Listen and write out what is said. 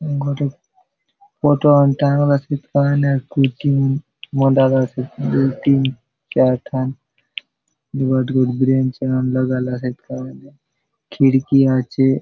गोटक फोटो असन टांगलासोत कायने कुर्सी मंडाला से दुय तीन चार टन ए बाटे गोट बेंच मन लगाला से कायने खिड़की आचे।